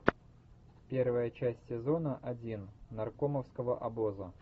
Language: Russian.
первая часть сезона один наркомовского обоза